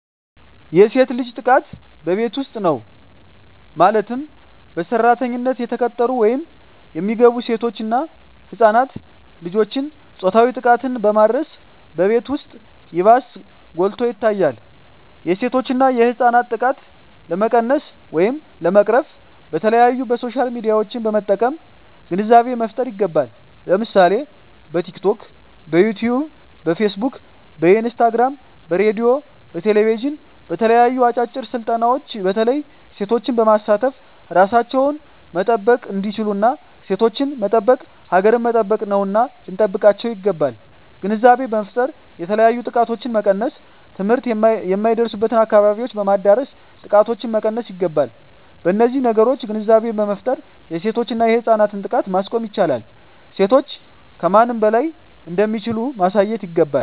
የሴት ልጅ ጥቃት በቤት ዉስጥ ነዉ ማለትም በሰራተኛነት የተቀጠሩ ወይም የሚገቡሴቶች እና ህፃናት ልጆችን ፆታዊ ጥቃትን በማድረስ በቤት ዉስጥ ይባስ ጎልቶ ይታያል የሴቶችና የህፃናት ጥቃት ለመቀነስ ወይም ለመቅረፍ በተለያዩ በሶሻል ሚድያዎችን በመጠቀም ግንዛቤ መፍጠር ይገባል ለምሳሌ በቲክቶክ በዮትዮብ በፊስ ቡክ በኢንስታግራም በሬድዮ በቴሌብዥን በተለያዩ አጫጭር ስልጠናዎች በተለይ ሴቶችን በማሳተፍ እራሳቸዉን መጠበቅ እንዲችሉና ሴቶችን መጠበቅ ሀገርን መጠበቅ ነዉና ልንጠብቃቸዉ ይገባል ግንዛቤ በመፍጠር የተለያዮ ጥቃቶችን መቀነስ ትምህርት የማይደርሱበትን አካባቢዎች በማዳረስ ጥቃቶችን መቀነስ ይገባል በነዚህ ነገሮች ግንዛቤ በመፍጠር የሴቶችና የህፃናትን ጥቃት ማስቆም ይቻላል ሴቶች ከማንም በላይ እንደሚችሉ ማሳየት ይገባል